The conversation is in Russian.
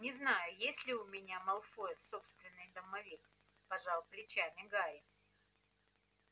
не знаю есть ли у меня малфоев собственный домовик пожал плечами гарри